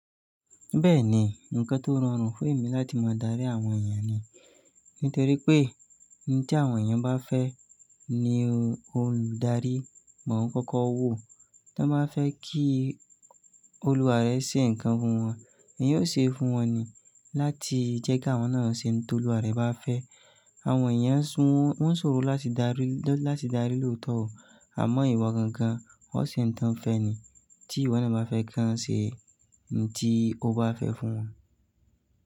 Bẹ́ẹ̀ni, ǹkan tó rọrùn fún èmi láti máa darí àwọn èeyàn ni. Nítorí pé n tí àwọn èeyàn bá fẹ́ ní olùdarí mọ̀ ń kọ́kọ́ wò, tí wọ́n bá fẹ́ kí olúwa rẹ̀ ṣe nǹkan fún wọn, èyan ó ṣe fún wọn ni. Láti jẹ́ kí àwọn náà ṣe ohun tó olúwa rẹ̀ bá fẹ́. Àwọn èèyàn so won sòro láti daari loto ooo. Àmọ́ ìwo gangan, o ṣe ntan fẹ́ ni. Tí ìwọ náà bá fẹ́ kí wọ́n ṣe in tí o bá fẹ́ fún wọn.